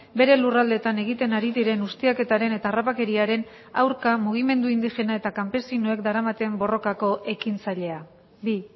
bere lurraldeetan egiten ari diren ustiaketaren eta harrapakeriaren aurka mugimendu indigena eta kanpesinoek daramaten borrokako ekintzailea bi